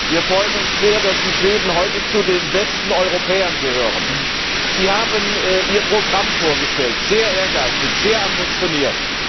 Wir freuen uns sehr, dass die Schweden heute zu den besten Europäern gehören! Sie haben Ihr Programm vorgestellt sehr ehrgeizig, sehr ambitioniert!